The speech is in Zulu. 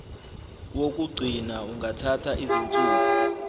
wokugcina ungathatha izinsuku